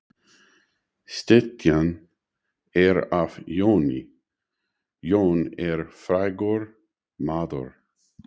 Styttan er af Jóni. Jón er frægur maður.